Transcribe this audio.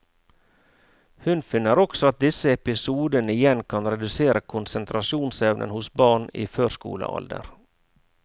Hun finner også at disse episodene igjen kan redusere konsentrasjonsevnen hos barn i førskolealder.